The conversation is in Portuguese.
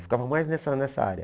Ficava mais nessa nessa área.